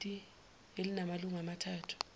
kukomiti elinamalungu amathathu